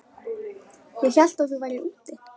Ég hélt að þú værir úti.